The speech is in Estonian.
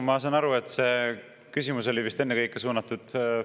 Ma saan aru, et see küsimus oli vist ennekõike suunatud …